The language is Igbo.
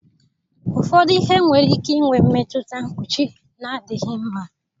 Ụfọdụ ihe nwere ike inwe mmetụta mkpuchi na-adịghị mma